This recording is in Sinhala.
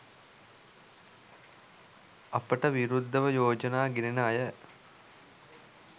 අපට විරුද්ධව යෝජනා ගෙනෙන අය